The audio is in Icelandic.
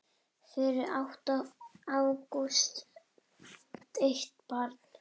Fyrir átti Ágúst eitt barn.